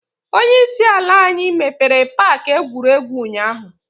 Onye isi ala anyi mepere paaki egwuregwu ụnyaahụ.